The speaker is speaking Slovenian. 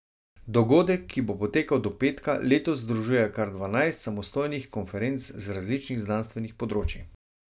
Dogodek, ki bo potekal do petka, letos združuje kar dvanajst samostojnih konferenc z različnih znanstvenih področij.